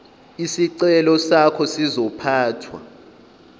isicelo sakho sizophathwa